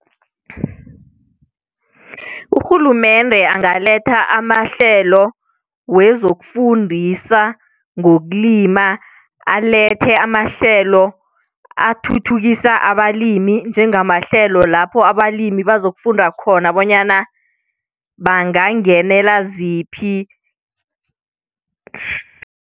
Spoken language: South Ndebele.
Urhulumende angaletha amahlelo wezokufundisa ngokulima, alethe amahlelo athuthukisa abalimi njengamahlelo lapho abalimi bazokufunda khona bonyana bangangenela ziphi